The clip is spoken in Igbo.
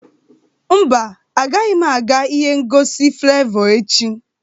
Mba, agaghị m aga ihe ngosi Flevọ echi